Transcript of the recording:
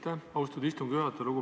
Aitäh, austatud istungi juhataja!